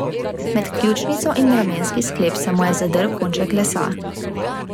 Med ključnico in ramenski sklep se mu je zadrl konček lesa.